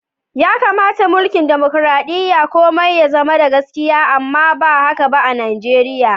Ya kamata a'mulki'n dimokuradiyya komi ya zama da gaskiya amma ba haka ba a'Nijeriya.